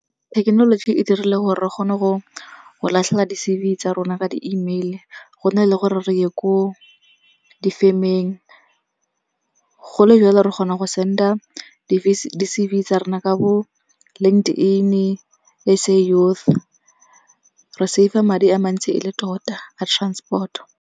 Thekenoloji e dirile gore re kgone go latlhela di-C_V tsa rona ka di-email-e go na le gore re ye ko difemeng. Go le jalo re kgona go send-a di-C_V tsa rona ka bo LinkedIn-e, S_A Youth. Re save-a madi a mantsi e le tota, a transport.